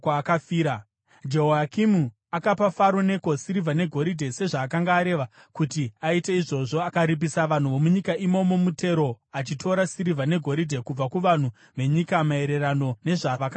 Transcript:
Jehoyakimi akapa Faro Neko sirivha negoridhe sezvaakanga areva. Kuti aite izvozvo, akaripisa vanhu vomunyika imomo mutero achitora sirivha negoridhe kubva kuvanhu venyika maererano nezvavakanga vatarirwa.